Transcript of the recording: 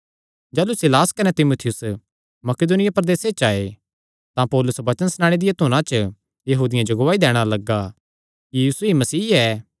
जाह़लू सीलास कने तीमुथियुस मकिदुनिया प्रदेसे च आये तां पौलुस वचन सणाणे दिया धुना च यहूदियां जो गवाही दैणा लग्गा कि यीशु ई मसीह ऐ